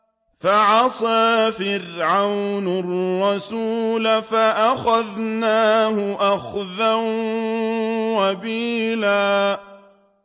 فَعَصَىٰ فِرْعَوْنُ الرَّسُولَ فَأَخَذْنَاهُ أَخْذًا وَبِيلًا